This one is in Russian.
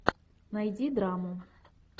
найди драму